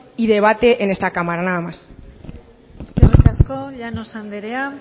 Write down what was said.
y debate en esta cámara nada más eskerrik asko llanos andrea